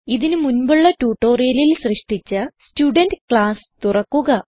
ഇതിന് മുൻപുള്ള ട്യൂട്ടോറിയലിൽ സൃഷ്ടിച്ച സ്റ്റുഡെന്റ് ക്ലാസ് തുറക്കുക